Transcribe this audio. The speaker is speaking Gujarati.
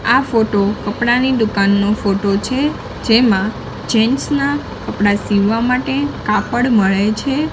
આ ફોટો કપડાની દુકાનનો ફોટો છે જેમાં જેન્ટ્સ ના કપડા સીવવા માટે કાપડ મળે છે.